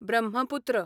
Brahmaputra